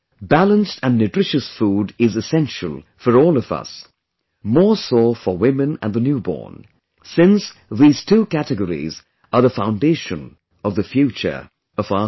Balanced and nutritious food is essential for all of us, more so for women and the newborn, since these two categories are the foundation of the future of our society